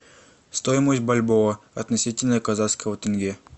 стоимость бальбоа относительно казахского тенге